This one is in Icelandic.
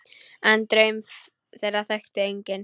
En draum þeirra þekkti enginn.